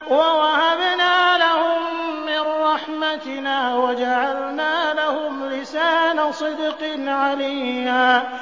وَوَهَبْنَا لَهُم مِّن رَّحْمَتِنَا وَجَعَلْنَا لَهُمْ لِسَانَ صِدْقٍ عَلِيًّا